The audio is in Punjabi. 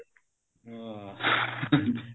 ਹਾਂ